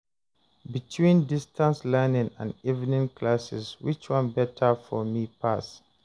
between distance learning and evening classes, which one better for me pass?